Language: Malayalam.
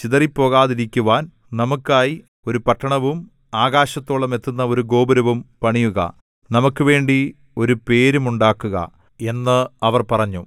ചിതറിപ്പോകാതിരിക്കുവാൻ നമുക്കായി ഒരു പട്ടണവും ആകാശത്തോളം എത്തുന്ന ഒരു ഗോപുരവും പണിയുക നമുക്കുവേണ്ടി ഒരു പേരുമുണ്ടാക്കുക എന്ന് അവർ പറഞ്ഞു